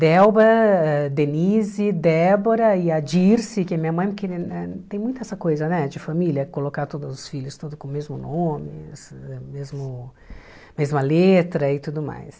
Delba, Denise, Débora e a Dirce, que é minha mãe, porque eh eh tem muita essa coisa, né, de família, colocar todos os filhos tudo com o mesmo nome, mesmo mesma letra e tudo mais.